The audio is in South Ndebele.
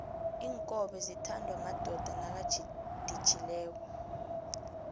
inkobe zithandwa madoda nakaditjhileko